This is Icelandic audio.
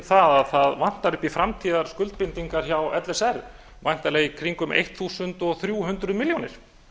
að það vantar upp í framtíðarskuldbindingar hjá l s r væntanlega í kringum þrettán hundruð milljónir